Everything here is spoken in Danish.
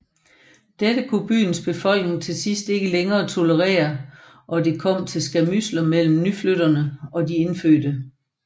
Dette kunne byens befolkning til sidst ikke længere tolerere og det kom til skærmydsler mellem nyflyttere og de indfødte